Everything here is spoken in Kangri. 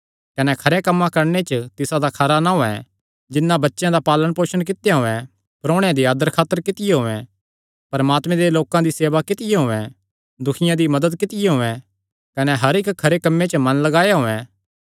कने खरेयां कम्मां करणे च तिसादा खरा नां होयैं जिन्नै बच्चेयां दा पालणपोसण कित्या होयैं परोणेयां दी आदरखातर कित्तियो होयैं परमात्मे दे लोकां दी सेवा कित्तियो होयैं दुखियां दी मदत कित्तियो होयैं कने हर इक्की खरे कम्मे च मन लगाया होयैं